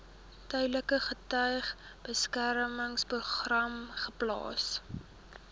tydelike getuiebeskermingsprogram geplaas